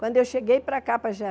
Quando eu cheguei para cá, para